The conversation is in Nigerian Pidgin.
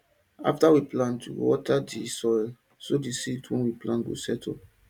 after we plant we go water the soil so di seeds wey we plant go settle